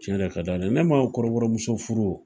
Tiɲɛ ka di ala ye ne m'a fɔ ko kɔrɔbɔrɔmuso furu